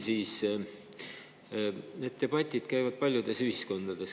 Sellised debatid käivad paljudes ühiskondades.